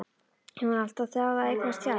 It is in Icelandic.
Hún hefur alltaf þráð að eignast tjald.